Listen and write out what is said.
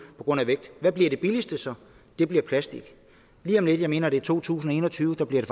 på grund af vægt hvad bliver det billigste så det bliver plastik lige om lidt jeg mener det er i to tusind og en og tyve bliver det